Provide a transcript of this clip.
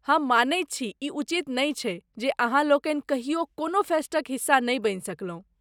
हम मानैत छी, ई उचित नहि छैक जे अहाँलोकनि कहियो कोनहु फेस्टक हिस्सा नहि बनि सकलहुँ।